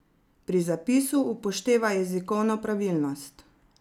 Pri zapisu upoštevaj jezikovno pravilnost.